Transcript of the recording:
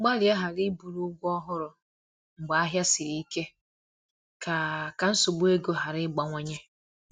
Gbalịa ghara iburu ụgwọ ọhụrụ mgbe ahịa siri ike, ka ka nsogbu ego ghara ịgbawanye